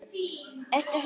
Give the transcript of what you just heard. Ertu horfin?